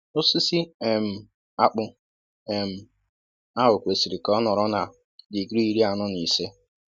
osisi um akpu um ahụ kwesịrị ka ọ nọrọ na digrii iri anọ na ise